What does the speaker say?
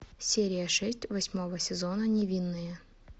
серия шесть восьмого сезона невинные